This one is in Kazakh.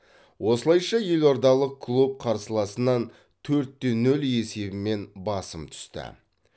осылайша елордалық клуб қарсыласынан төртте нөл есебімен басым түсті